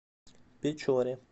печоре